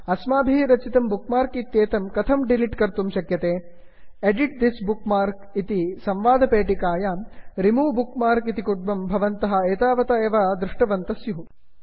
अस्माभिः रचितं bookmark इत्येतत् कथं डिलिट् कर्तुं शक्यते160 edit this bookmarks edit this bookmark इति संवादपेटिकायां remove bookmark remove bookmark इति विकल्पं भवन्तः एतावता एव दृष्टवन्तः स्युः